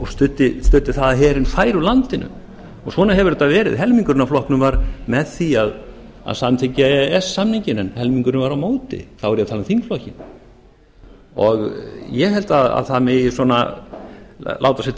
og studdi það að herinn færi úr landinu svona hefur þetta verið helmingurinn af flokknum var með því að samþykkja e e s samninginn en helmingurinn var á móti þá er ég að tala um þingflokkinn ég held að það megi svona láta sér